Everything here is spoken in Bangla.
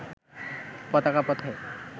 পতাকা পথে